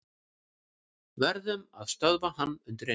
Verðum að stöðva hann undireins.